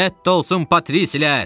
Rədd olsun patrissilər!